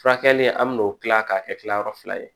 Furakɛli an bɛn'o kila k'a kɛ kilayɔrɔ fila ye